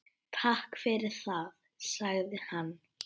Takk fyrir það- sagði hann.